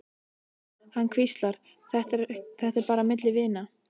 Hann hvíslar, þetta er bara milli vina.